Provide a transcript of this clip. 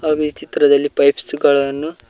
ಹಾಗು ಈ ಚಿತ್ರದಲ್ಲಿ ಪೈಪ್ಸ್ ಗಳನ್ನು--